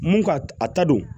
Mun ka a ta don